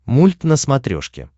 мульт на смотрешке